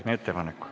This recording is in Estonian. Teete ettepaneku.